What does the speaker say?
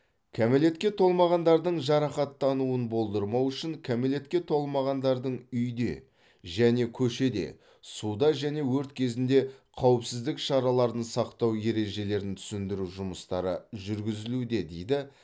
кәмелетке толмағандардың жарақаттануын болдырмау үшін кәмелетке толмағандардың үйде және көшеде суда және өрт кезінде қауіпсіздік шараларын сақтау ережелерін түсіндіру жұмыстары жүргізілуде дейді